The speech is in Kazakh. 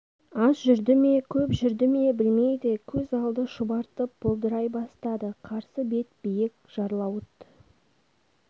аз жүрді ме көп жүрді ме білмейді көз алды шұбартып бұлдырай бастады қарсы бет биік жарлауыт